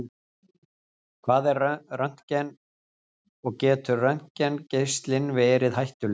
Hvað er röntgen og getur röntgengeislinn verið hættulegur?